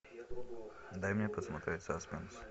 дай мне посмотреть саспенс